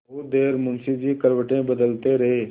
बहुत देर मुंशी जी करवटें बदलते रहे